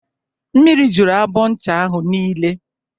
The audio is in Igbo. Mmiri juru abọ ncha ahụ niile